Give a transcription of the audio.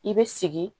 I bɛ sigi